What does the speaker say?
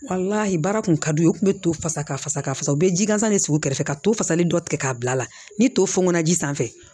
baara kun ka d'u ye u kun bɛ to fasa ka fasa ka fasa u bɛ ji gansan de sigi u kɛrɛfɛ ka to fasali dɔ tigɛ k'a bila ni to funɛna ji sanfɛ